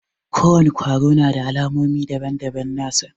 Ko wani kwaro na da alamomi daban-daban nasa.